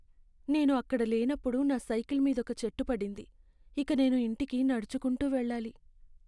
నేను అక్కడ లేనప్పుడు నా సైకిల్ మీదొక చెట్టు పడింది, ఇక నేను ఇంటికి నడుచుకుంటూ వెళ్లాలి.